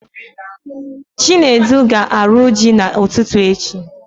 Chinedu ga-arụ ji na ụtụtụ echi